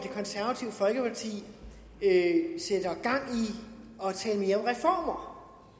at tale mere om reformer